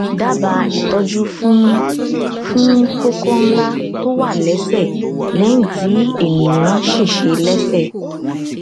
dábàá ìtọjú fún fún kókó ńlá tó wà lẹsẹ lẹyìn tí ènìyàn ṣèṣe lẹsẹ